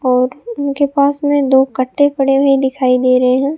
और इनके पास में दो कट्टे पड़े हुए दिखाई दे रहे है।